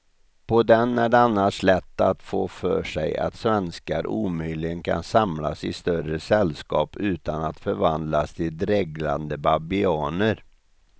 På den är det annars lätt att få för sig att svenskar omöjligen kan samlas i större sällskap utan att förvandlas till dreglande babianer.